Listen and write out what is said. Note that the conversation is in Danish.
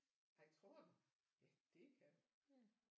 Ej tror du ja det kan du